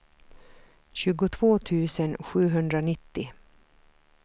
tjugotvå tusen sjuhundranittio